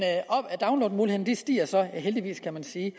downloadmulighederne stiger så heldigvis kan man sige